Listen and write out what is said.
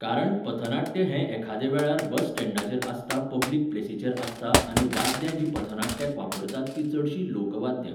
कारण पथनाट्य हें एखादे वेळार बस स्टँडाचेर आसता पब्लीक प्लेसीचेर आसता आनी वाद्यां जीं पथनाट्याक वापरतात तीं चडशीं लोक वाद्यां.